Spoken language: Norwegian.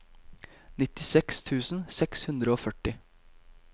nittiseks tusen seks hundre og førti